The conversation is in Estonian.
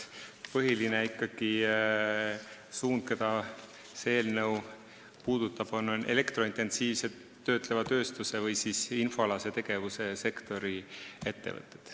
Põhiline suund on see, et see eelnõu puudutab elektrointensiivse töötleva tööstuse või infoalase tegevuse sektori ettevõtteid.